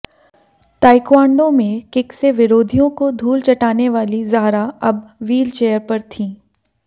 taekwondo में kick से विरोधियों को धूल चटाने वालीं जाहरा अब व्हील चेयर पर थीं